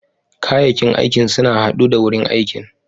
Kayakin aikin suna haddu da wurin aikin.